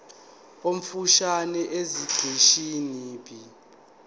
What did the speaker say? omfushane esiqeshini b